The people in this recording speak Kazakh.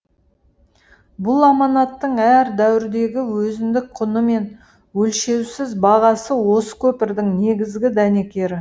бұл аманаттың әр дәуірдегі өзіндік құны мен өлшеусіз бағасы осы көпірдің негізгі дәнекері